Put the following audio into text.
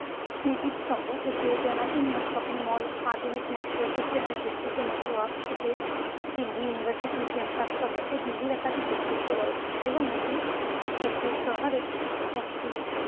স্মৃতি স্তম্ভ থেকে জনাকীর্ণ shopping mall আধুনিক মেট্রো system এর বিস্তৃত network থেকে দিল্লি university campus পর্যন্ত দিল্লির একাধিক ব্যক্তিত্ব রয়েছে এবং এটি একটি শহরে একটি